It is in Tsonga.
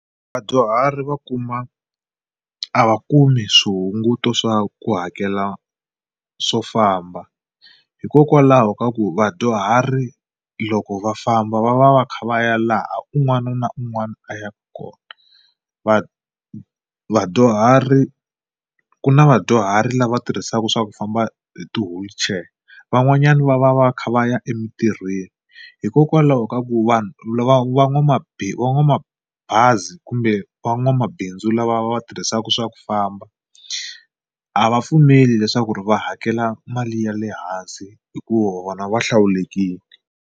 Vadyuhari va kuma a va kumi swihunguto swa ku hakela swo famba hikokwalaho ka ku vadyuhari loko va famba va va va kha va ya laha un'wana na un'wana a yaka kona. Va vadyuhari ku na vadyuhari lava tirhisaka swa ku famba hi ti-wheelchair van'wanyani va va va kha va ya emitirhweni hikokwalaho ka ku vanhu lava va va n'wamabazi kumbe van'wamabindzu lava va tirhisaka swa ku famba a va pfumeli leswaku ri va hakela mali ya le hansi hikuva na vona va hlawulekile.